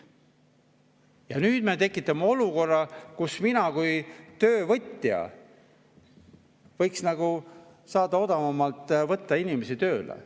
Ja nüüd me tekitame olukorra, kus mina kui tööandja võiks odavamalt inimesi tööle võtta.